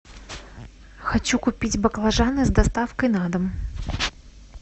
хочу купить баклажаны с доставкой на дом